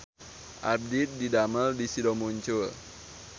Abdi didamel di Sido Muncul